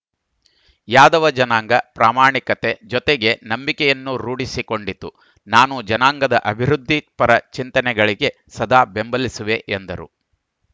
ಯಾದವ ಜನಾಂಗ ಪ್ರಾಮಾಣಿಕತೆ ಜೊತೆಗೆ ನಂಬಿಕೆಯನ್ನೂ ರೂಢಿಸಿಕೊಂಡಿತು ನಾನು ಜನಾಂಗದ ಅಭಿವೃದ್ಧಿ ಪರ ಚಿಂತನೆಗಳಿಗೆ ಸದಾ ಬೆಂಬಲಿಸುವೆ ಎಂದರು